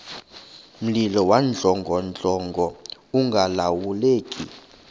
mlilo wawudlongodlongo ungalawuleki